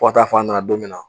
Fɔ ka taa fɔ a nana don minna